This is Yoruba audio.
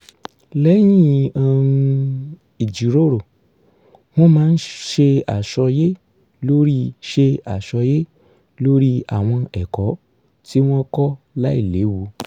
lẹ́yìn um ìjìròrò wọ́n máa ń ṣe àsọyé lórí ṣe àsọyé lórí àwọn ẹ̀kọ́ tí wọ́n kọ́ láìléwu